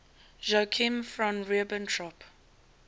joachim von ribbentrop